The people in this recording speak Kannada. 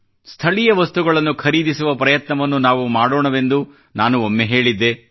ಸ್ಥಳೀಯ ವಸ್ತುಗಳನ್ನು ಖರೀದಿಸುವ ಪ್ರಯತ್ನವನ್ನು ನಾವು ಮಾಡೋಣವೆಂದು ನಾನು ಒಮ್ಮೆ ಹೇಳಿದ್ದೆ